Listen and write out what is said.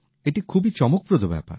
এটি খুবই চমকপ্রদ ব্যাপার